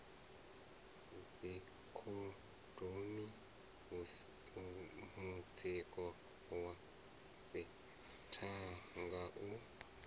dzikhondomu mutsiko wa dzithanga u